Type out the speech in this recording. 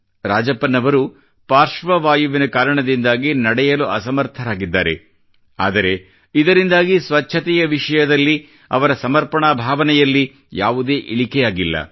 ರಾಜಪ್ಪನ್ ಅವರು ಪಾರ್ಶ್ವವಾಯುವಿನ ಕಾರಣದಿಂದಾಗಿ ನಡೆಯಲು ಅಸಮರ್ಥರಾಗಿದ್ದಾರೆ ಆದರೆ ಇದರಿಂದಾಗಿ ಸ್ವಚ್ಛತೆಯ ವಿಷಯವಾಗಿ ಅವರ ಸಮರ್ಪಣಾ ಭಾವನೆಯಲ್ಲಿ ಯಾವುದೇ ಇಳಿಕೆಯಾಗಿಲ್ಲ